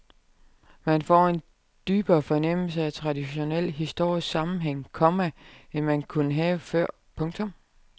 Man får en dybere fornemmelse af traditionel historisk sammenhæng, komma end man kunne have før. punktum